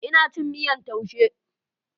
Ina cin miyar taushe.